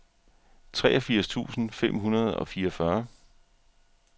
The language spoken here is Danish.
treogfirs tusind fem hundrede og fireogfyrre